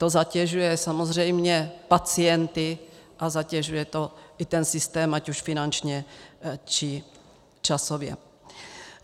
To zatěžuje samozřejmě pacienty a zatěžuje to i ten systém, ať už finančně, nebo časově.